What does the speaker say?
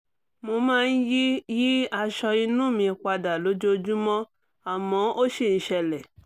mo máa ń yí yí aṣọ inú mi pa dà lójoojúmọ́ àmọ́ ó ṣì ń ṣẹlẹ̀